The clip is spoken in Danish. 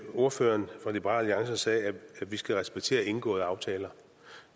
ordføreren for liberal alliance sagde at vi skal respektere indgåede aftaler